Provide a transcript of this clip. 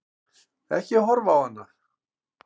Ekki horfa á hana!